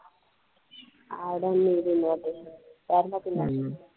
I don't need an invitation का माहितीये का